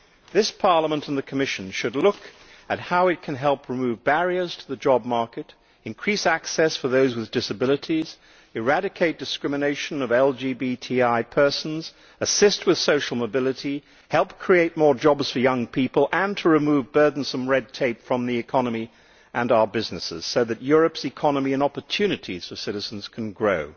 This Parliament and the Commission should look at how it can help remove barriers to the job market, increase access for those with disabilities, eradicate discrimination against LGBTI persons, assist with social mobility, help create more jobs for young people and remove burdensome red tape from the economy and our businesses, so that Europe's economy and opportunities for citizens can grow.